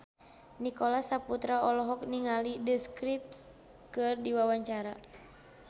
Nicholas Saputra olohok ningali The Script keur diwawancara